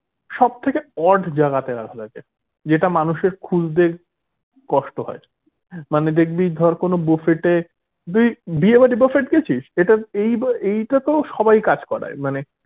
সব থেকে odd জাগাতে রাখা থাকে যেটা মানুষের খুঁজতে কষ্ট হয় মানে দেখবি ধর কোনো buffet এ তুই বিয়ে বাড়ির buffet খেয়েছিস এটা এইটাতো সবাই কাজ করায়